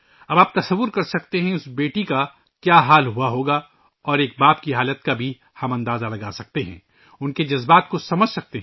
اب آپ اندازہ لگا سکتے ہیں کہ اس بیٹی کے ساتھ کیا گزری ہو گی اور ہم ایک باپ کی حالت کا اندازہ بھی لگا سکتے ہیں، اس کے جذبات کو سمجھ سکتے ہیں